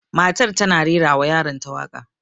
Matar tana rera wa yaron ta waƙa